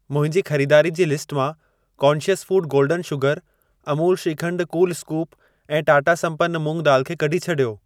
मुंहिंजी खरीदारी जी लिस्ट मां conscious food golden sugar, Amul shrikhand cool scoop ऐं टाटा संपन्न मूंग दाल खे कढी छॾियो।